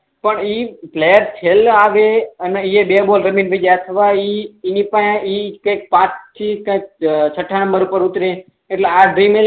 પણ ઈ પ્લાયર ખેલવા આવે અને બે બોલ રમીને અથવા ઈ કઈ ઈ કઈ પાંચ થી કઈ છઠ્ઠા નંબર પર ઉતરે એટલે ડ્રીમ ઈલેવન